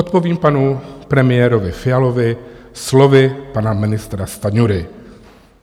Odpovím panu premiérovi Fialovi slovy pana ministra Stanjury.